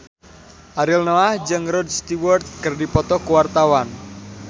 Ariel Noah jeung Rod Stewart keur dipoto ku wartawan